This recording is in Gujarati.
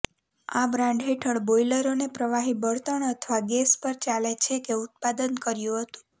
આ બ્રાન્ડ હેઠળ બોઇલરોને પ્રવાહી બળતણ અથવા ગેસ પર ચાલે છે કે ઉત્પાદન કર્યું હતું